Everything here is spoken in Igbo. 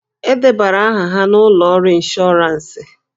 E debara aha ha n'ụlọ ọrụ ịnshọransị.